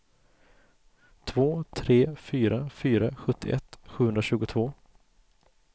två tre fyra fyra sjuttioett sjuhundratjugotvå